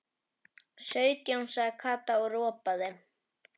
Sautján sagði Kata og ropaði.